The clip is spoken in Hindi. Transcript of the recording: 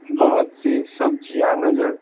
बहुत सी सब्जियां नजर--